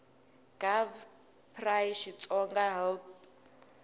gov pri xitsonga hl p